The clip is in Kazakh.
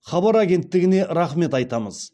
хабар агенттігіне рахмет айтамыз